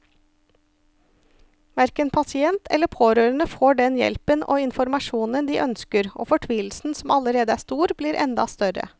Hverken pasient eller pårørende får den hjelpen og informasjonen de ønsker, og fortvilelsen som allerede er stor, blir enda større.